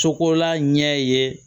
Cogola ɲɛ ye